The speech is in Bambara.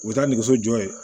U bɛ taa nɛgɛso jɔ yen